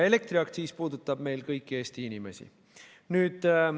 Elektriaktsiis aga puudutab kõiki Eesti inimesi.